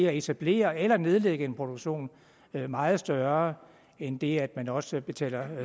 at etablere eller nedlægge en produktion er meget større end det at man også betaler